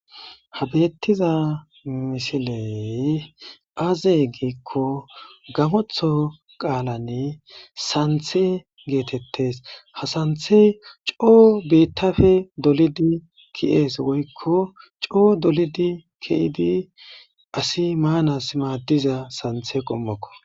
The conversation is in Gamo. ha bettiza misiley aaze giikko gamotho qaalanne santhe geetettes ha santhey coo beittafe dolidi ki7ees woykko coo dolidi kiydi asi maanas maadiza santhe qommokko